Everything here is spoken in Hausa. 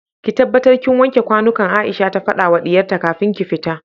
ki tabbatar kin wanke kwanukan Aisha ta fadawa diyarta kafin ki fita